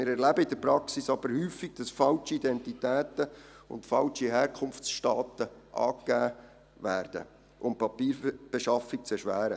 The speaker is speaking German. Wir erleben in der Praxis jedoch häufig, dass falsche Identitäten und falsche Herkunftsstaaten angegeben werden, um die Papierbeschaffung zu erschweren.